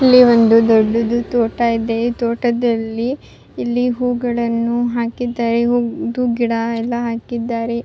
ಇಲ್ಲಿ ಒಂದು ದೊಡ್ಡದ್ದು ತೋಟ ಇದೆ ತೋಟದಲ್ಲಿ ಇಲ್ಲಿ ಹೂಗಳನ್ನು ಹಾಕಿದ್ದಾರೆ ಹೂ ದು ಗಿಡ ಎಲ್ಲ ಹಾಕಿದ್ದಾರೆ.